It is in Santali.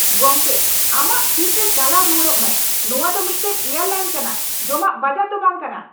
ᱜᱚᱢᱠᱮ, ᱟᱢᱟᱜ ᱥᱤᱴ ᱨᱮ ᱪᱟᱞᱟᱣ ᱨᱩᱣᱟᱹᱲᱚᱜ ᱢᱮ, ᱱᱚᱶᱟ ᱫᱚ ᱢᱤᱫᱴᱟᱝ ᱮᱭᱟᱨᱞᱟᱭᱤᱱ ᱠᱟᱱᱟ, ᱡᱚᱢᱟᱜ ᱵᱟᱡᱟᱨ ᱫᱚ ᱵᱟᱝᱠᱟᱱᱟ !